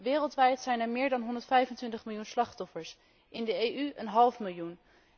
Wereldwijd zijn er meer dan 125 miljoen slachtoffers, in de EU een half miljoen.